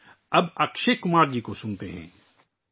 آئیے، اب اکشے کمار جی کو سنتے ہیں